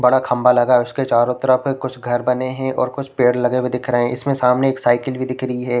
--बड़ा खंभा लगा है उसके चारो तरफ कुछ घर बने है और कुछ पेड़ लगे हुए दिख रहे है उसके सामने एक साइकिल भी दिख रही है।